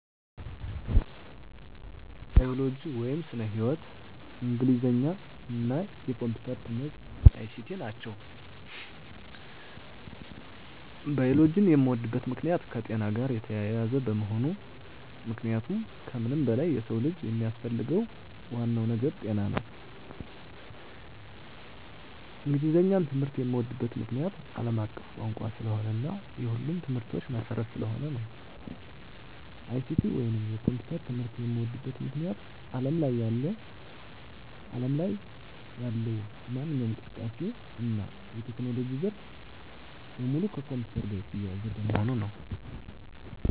ባዮሎጂ (ስነ-ህይዎት)፣ እንግሊዘኛ እና የኮምፒዩተር ትምህርት(ICT) ናቸው። ባዮሎጂን የምወድበት ምክንያት - የከጤና ጋር የተያያዘ በመሆኑ ምክንያቱም ከምንም በላይ የሰው ልጅ የሚያስፈልገው ዋናው ነገር ጤና ነው። እንግሊዘኛን ትምህርት የምዎድበት ምክንያት - አለም አቀፍ ቋንቋ ስለሆነ እና የሁሉም ትምህርቶች መሰረት ስለሆነ ነው። ICT ወይንም የኮምፒውተር ትምህርት የምዎድበት ምክንያት አለም ላይ ያለው ማንኛውም እንቅስቃሴ እና የቴክኖሎጂ ዘርፍ በሙሉ ከኮምፒውተር ጋር የተያያዘ በመሆኑ ነው።